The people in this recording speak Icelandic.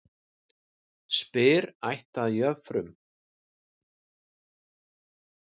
Spyr ætt að jöfrum.